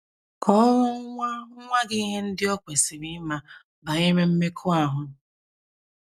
Kọọrọ Nwa Nwa Gị Ihe Ndị O Kwesịrị Ịma Banyere Mmekọahụ